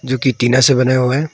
जो कि टीना से बनाया हुआ है।